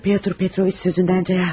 Ya Pyotr Petroviç sözündən cayasa?